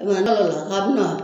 k'a bɛ na